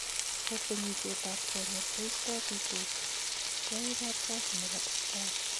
Kakwenyisiet ab konyek koisto bitoshek keae kapkasi nebo Daktari.